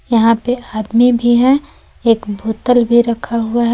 यहां पे आदमी भी है एक बोतल भी रखा हुआ है।